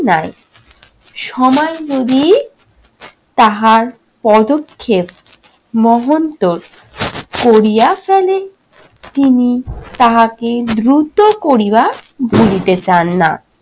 নাই। সময় যদি তাহার পদক্ষেপ মহন্তোর করিয়া ফেলে। তিনি তাহাকে দ্রুত করিবা ধরিতে চান নাহ।